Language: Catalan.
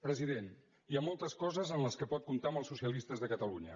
president hi ha moltes coses en què pot comptar amb els socialistes de catalunya